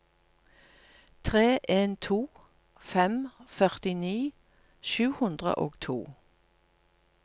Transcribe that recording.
tre en to fem førtini sju hundre og to